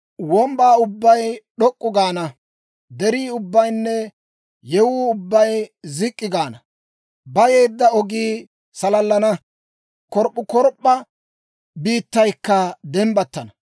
Wombbaa ubbay d'ok'k'u gaana; derii ubbaynne yewuu ubbay zik'k'i gaana. Bayeedda ogii salallana; korp'p'ukorp'p'a biittaykka dembbattana.